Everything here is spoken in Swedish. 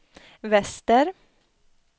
väster